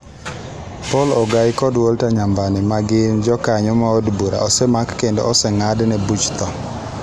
Poul Ogai kod Walter Sambwe, ma gin jokanyo mag Od Bura, osemak kendo oseng'adne buch tho.